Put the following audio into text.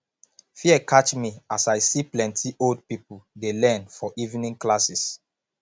fear catch me as i see plenty old people dey learn for evening classes